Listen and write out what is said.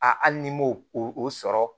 A hali ni m'o o sɔrɔ